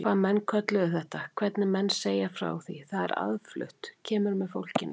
Hvað menn kölluðu þetta, hvernig menn segja frá því, það er aðflutt, kemur með fólkinu.